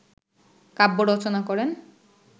কাব্য রচনা করেন